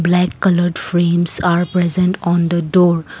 black coloured frames are present on the door.